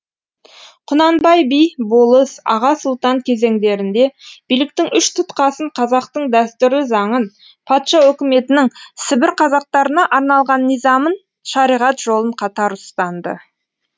құнанбай би болыс аға сұлтан кезеңдерінде биліктің үш тұтқасын қазақтың дәстүрлі заңын патша өкіметінің сібір қазақтарына арналған низамын шариғат жолын қатар ұстанды